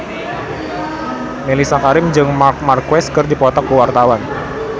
Mellisa Karim jeung Marc Marquez keur dipoto ku wartawan